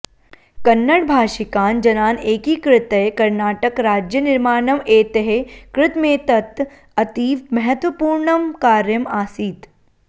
कन्नडभाषिकान जनान एकीकृत्य कर्णाटक राज्यनिर्माणम् एतैः कृतमेतत् अतीव महत्वपूर्णम् कार्यम् आसीत्